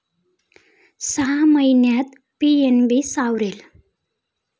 सहा महिन्यांत पीएनबी सावरेल